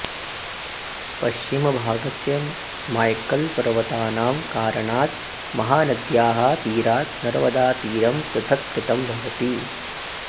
पश्चिमभागस्य माय्कल् पर्वतानां कारणात् महानद्याः तीरात् नर्मदातीरं पृथक्कृतं भवति